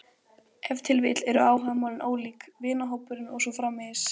Ef til vill eru áhugamálin ólík, vinahópurinn og svo framvegis.